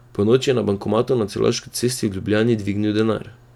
Ponoči je na bankomatu na Celovški cesti v Ljubljani dvignil denar.